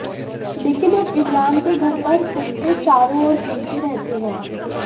लेकिन अब इमरान के घर पर कुत्ते चारों ओर घूमते रहते हैं